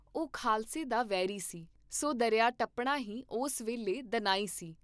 ਉਹ ਖਾਲਸੇ ਦਾ ਵੈਰੀ ਸੀ, ਸੋ ਦਰਿਆ ਟੱਪਣਾ ਹੀ ਉਸ ਵੇਲੇ ਦਨਾਈ ਸੀ।